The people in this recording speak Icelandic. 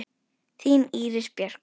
Þín Íris Björk.